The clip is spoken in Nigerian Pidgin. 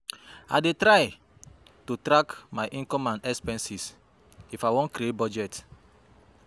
I dey try to track my income and expenses if i won create budget.